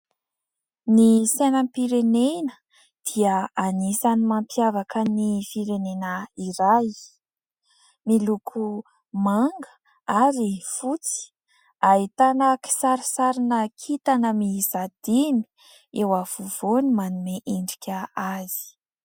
Ny sainam-pirenena dia anisan'ny mampiavaka ny firenena iray. Miloko manga ary fotsy ahitana kisarisarina kitana miisa dimy eo afovoany manome endrika azy.